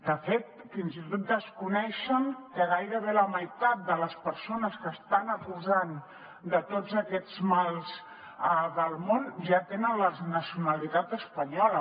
de fet fins i tot desconeixen que gairebé la meitat de les persones que estan acusant de tots aquests mals del món ja tenen la nacionalitat espanyola